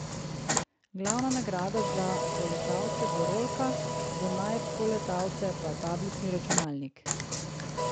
Glavna nagrada za poletavce bo rolka, za najpoletavce pa tablični računalnik.